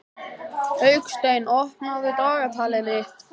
Hauksteinn, opnaðu dagatalið mitt.